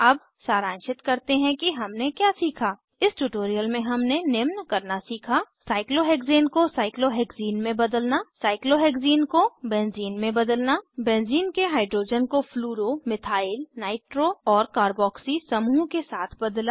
अब सारांशित करते हैं कि हमने क्या सीखा इस ट्यूटोरियल में हमने निम्न करना सीखा साइक्लोहेक्ज़ेन को साइक्लोहेक्ज़ीन में बदलना साइक्लोहेक्ज़ीन को बेंज़ीन में बदलना बेंज़ीन के हाइड्रोजन को फ्लूरो मिथाइल नाइट्रो और कारबॉक्सी समूह के साथ बदला